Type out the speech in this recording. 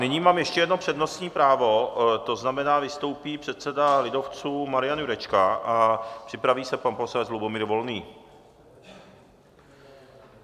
Nyní mám ještě jedno přednostní právo, to znamená, vystoupí předseda lidovců Marian Jurečka a připraví se pan poslanec Lubomír Volný.